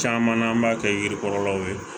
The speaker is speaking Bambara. Caman na an b'a kɛ yiri kɔrɔlaw ye